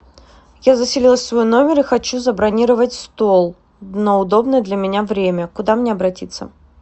я заселилась в свой номер и хочу забронировать стол на удобное для меня время куда мне обратиться